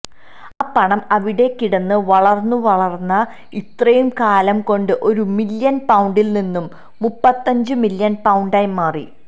ആ പണം അവിടെക്കിടന്ന് വളർന്നുവളർന്ന് ഇത്രയും കാലം കൊണ്ട് ഒരു മില്യൺ പൌണ്ടിൽ നിന്ന് മുപ്പത്തഞ്ചു മില്യൺ പൌണ്ടായി മാറി